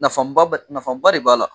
Nafaba bɛ nafaba de b'a la